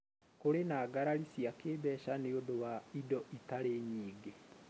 Kurĩ na ngarari cia kĩĩmbeca nĩ undũ wa indo itarĩ nyingĩ.